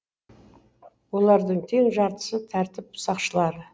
олардың тең жартысы тәртіп сақшылары